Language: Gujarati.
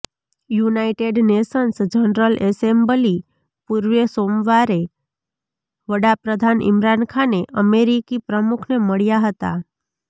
યુનાઇટેડ નેશન્સ જનરલ એસેમ્બલી પૂર્વે સોમવારે વડા પ્રધાન ઈમરાન ખાને અમેરિકી પ્રમુખને મળ્યા હતા